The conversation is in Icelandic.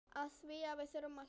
Afþvíað við þurfum að hlæja.